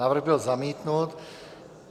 Návrh byl zamítnut.